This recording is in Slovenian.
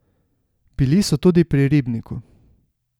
Bili so tudi pri ribniku.